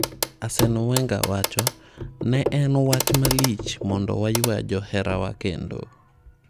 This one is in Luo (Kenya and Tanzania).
Arsene Wenger : Ne en wach malich mondo waywaa joherawa kendo.